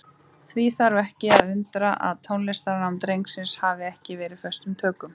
Því þarf ekki að undra að tónlistarnám drengsins hafi verið tekið föstum tökum.